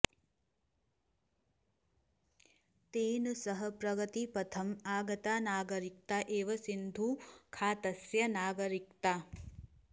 तेन सह प्रगतिपथम् आगता नागरिकता एव सिन्धुखातस्य नागरिकता